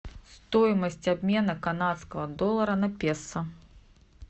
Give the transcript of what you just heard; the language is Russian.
стоимость обмена канадского доллара на песо